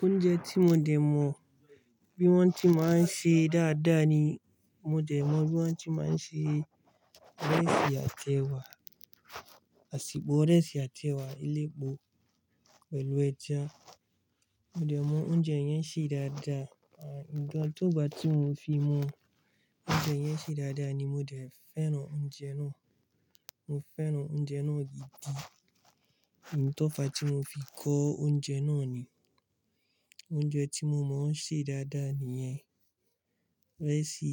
Oúnjẹ tí mo dẹ̀ mọ bí wọ́n ti máa ń ṣe dáadáa ni, mo dẹ̀ mọ bí wọ́n ti máa ń ṣe ìrẹsì àtẹ wà, àsepò ìrẹsì àti ẹwà elépo pẹ̀lú ẹja. Mo dẹ̀ mọ oúnjẹ yẹn ṣe dáadáa. Ànígbọ̀n, tógbà tí mo fi mọ oúnjẹ yẹn ṣe dáadáa ni mo dẹ̀ fẹ́ràn oúnjẹ náà. Mo fẹ́ràn oúnjẹ náà gidi. Ìtọ́fa tí mo fi kọ oúnjẹ náà ni, oúnjẹ tí mo mọ ṣe dáadáa nìyẹn, ìrẹsì